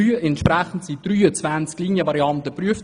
Entsprechend wurden 23 Linienvarianten geprüft.